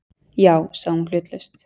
Já- sagði hún hlutlaust.